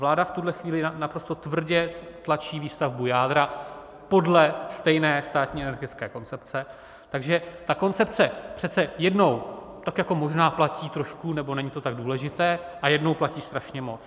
Vláda v tuhle chvíli naprosto tvrdě tlačí výstavbu jádra podle stejné státní energetické koncepce, takže ta koncepce přece jednou tak jako možná platí trošku nebo není to tak důležité, a jednou platí strašně moc.